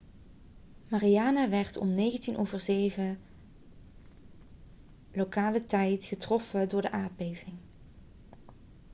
mariana werd om 07.19 uur lokale tijd vrijdag 21.19 gmt getroffen door de aardbeving